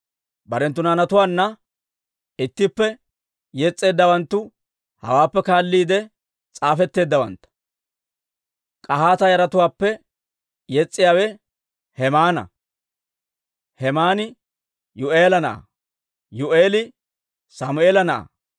Barenttu naanatuwaanna ittippe yes's'eeddawanttu hawaappe kaalliide s'aafetteeddawantta. K'ahaata yaratuwaappe yes's'iyaawe Hemaana. Hemaani Yuu'eela na'aa; Yuu'eeli Sammeela na'aa;